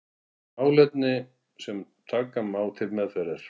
Málefni sem taka má til meðferðar.